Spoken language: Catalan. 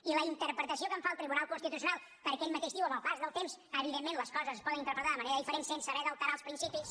i la interpretació que en fa el tribunal constitucional perquè ell mateix diu que amb el pas del temps evidentment les coses es poden interpretar de manera diferent sense haver d’alterar els principis